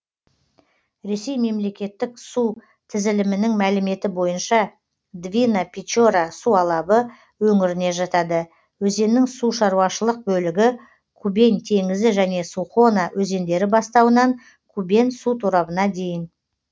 ресей мемлекеттік су тізілімінің мәліметі бойынша двина печора су алабы өңіріне жатады өзеннің сушаруашылық бөлігі кубень теңізі және сухона өзендері бастауынан кубен су торабына дейін